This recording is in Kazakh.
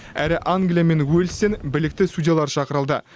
әрі англия мен уельстен білікті судьялар шақырылды